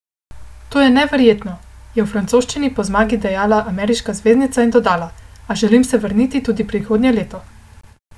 To je neverjetno," je v francoščini po zmagi dejala ameriška zvezdnica in dodala: "A želim se vrniti tudi prihodnje leto.